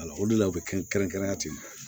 o de la u bɛ kɛnrɛn ten